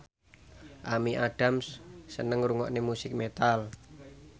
Amy Adams seneng ngrungokne musik metal